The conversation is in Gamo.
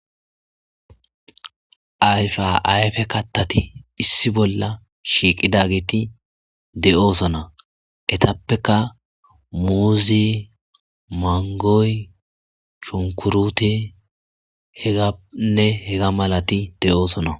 Ayfa ayfe kattati issi bolla shiiqidageeti de,oosona etappeka muuzi mangoy chunkurute heganne hega malati de,oosona.